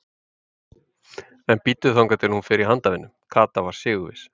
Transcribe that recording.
En bíddu þangað til hún fer í handavinnu. Kata var sigurviss.